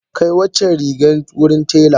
Kai waccan rigar wurin tela.